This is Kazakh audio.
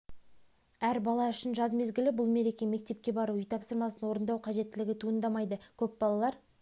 әр бала үшін жаз мезгілі бұл мереке мектепке бару үй тапсырмасын орындау қажеттілігі туындамайды көп балалар